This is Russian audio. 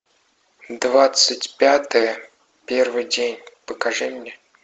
двадцать пятое первый день покажи мне